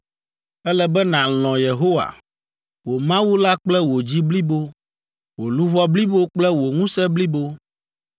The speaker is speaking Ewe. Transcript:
Ele be nàlɔ̃ Yehowa, wò Mawu la kple wò dzi blibo, wò luʋɔ blibo kple wò ŋusẽ blibo.